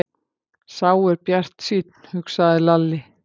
Sá er bjartsýnn, hugsaði Lalli.